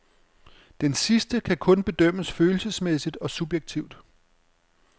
Denne sidste kan kun bedømmes følelsesmæssigt og subjektivt.